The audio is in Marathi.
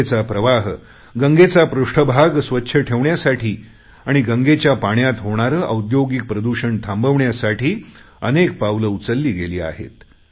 गंगेचा प्रवाह गंगेचा पृष्ठभाग स्वच्छ ठेवण्यासाठी आणि गंगेच्या पाण्यात होणारे औद्योगिक प्रदूषण थांबवण्यासाठी अनेक पावले उचलली गेली आहेत